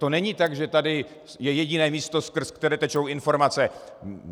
To není tak, že je tady jediné místo, skrz které tečou informace.